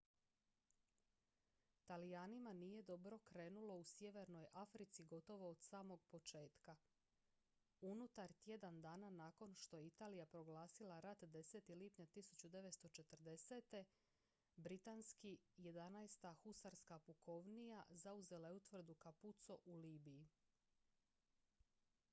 talijanima nije dobro krenulo u sjevernoj africi gotovo od samog početka unutar tjedan dana nakon što je italija proglasila rat 10. lipnja 1940. britanski 11. husarska pukovnija zauzela je utvrdu capuzzo u libiji